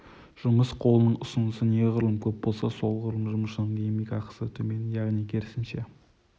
жұмыс қолының ұсынысы неғұрлым көп болса солғұрлым жұмысшының еңбек ақысы төмен яғни керісінше